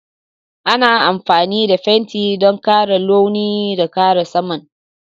Ana amfani da fenti don ƙara launi da kare saman.